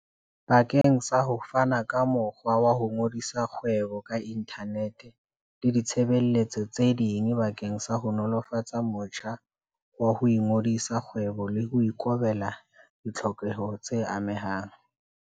Bakeng sa ho fana ka mokgwa wa ho ngodisa kgwebo ka inthanete le ditshebeletso tse ding bakeng sa ho nolofatsa motjha wa ho ngodisa kgwebo le ho ikobela ditlhokeho tse amehang.